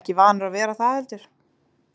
Ekki vanur að vera það heldur.